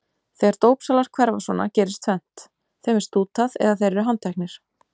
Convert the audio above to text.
Þegar dópsalar hverfa svona gerist tvennt: Þeim er stútað eða þeir eru handteknir.